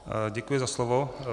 Děkuji za slovo.